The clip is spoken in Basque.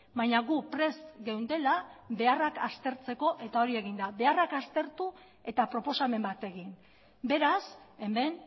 baina gu prest geundela beharrak aztertzeko eta hori egin da beharrak aztertu eta proposamen bat egin beraz hemen